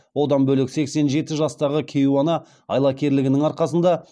одан бөлек сексен жеті жастағы кейуана айлакерлігінің арқасында